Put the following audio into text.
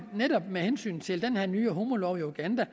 netop med hensyn til den her nye homolov i uganda